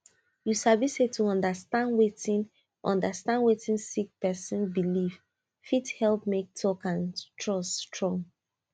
you sabi say to understand wetin understand wetin sick person believe fit help make talk and trust strong